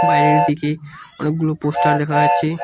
বাইরের দিকে অনেকগুলো পোস্টার দেখা যাচ্চে।